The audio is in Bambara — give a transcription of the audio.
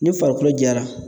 Ni farikolo jara